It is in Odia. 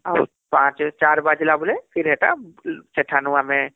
.. ପାଞ୍ଚ ଚାର ବାଜିଲା ବେଲେ ଫିର ହେଟା ସେଠାନୁ ଆମେ